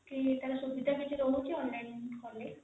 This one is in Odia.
କି ସୁବିଧା କିଛି ରହୁଛି online କଲେ